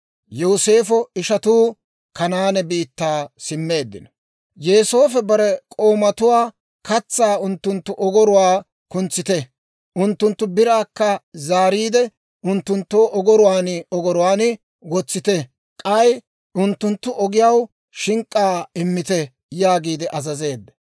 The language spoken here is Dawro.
Yooseefo bare k'oomatuwaa, «Katsaa unttunttu ogoruwaa kuntsite; unttunttu biraakka zaariide, unttunttu ogoruwaan ogoruwaan wotsite; k'ay unttunttu ogiyaw shink'k'aa immite» yaagiide azazeedda.